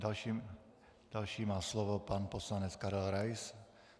Další má slovo pan poslanec Karel Rais.